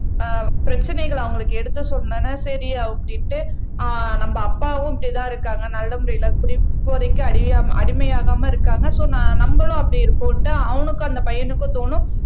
ஆஹ் பிரச்சனைகளை அவங்களுக்கு எடுத்து சொன்னோம்ன்னா சரியா அப்டின்டு ஆஹ் நம்ம அப்பாவும் இப்படித்தான் இருக்காங்க நல்ல முறையில குடிபோதைக்கு அடியாம அடிமையாகாம இருக்காங்க சோ ந நம்மளும் அப்படி இருப்போம்ட்டு அவனுக்கும் அந்த பையனுக்கும் தோணும்